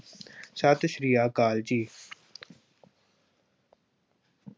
ਸਤਿ ਸ਼੍ਰੀ ਅਕਾਲ ਜੀ।